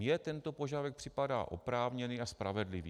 Mně tento požadavek připadá oprávněný a spravedlivý.